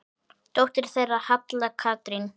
Dóttir þeirra er Halla Katrín.